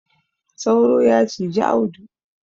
Sauro ya ciji Audu.